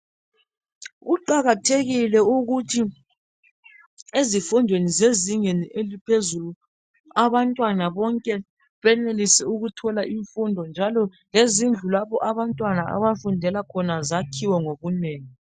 Kuqakathekile ukuthi ezifundweni zezingeni eliphezulu abantwana bonke benelise ukuthola imfundo njalo lezindlu lapho abantwana abafundela khona zakhiwe ngobunengi.